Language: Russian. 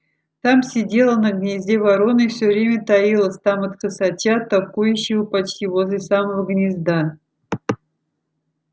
там сидела на гнезде ворона и все время таилась там от косача токующего почти возле самого гнезда